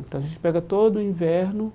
Então, a gente pega todo o inverno